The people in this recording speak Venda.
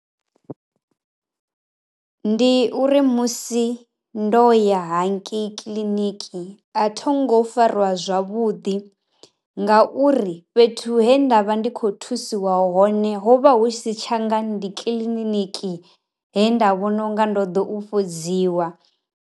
Ndi uri musi ndo ya hangei kiḽiniki a thonga u fariwa zwavhuḓi nga uri fhethu he ndavha ndi kho thusiwa hone ho vha hu tshi si tshanga ndi kiḽiniki he nda vhona unga ndo ḓa u fhodziwa.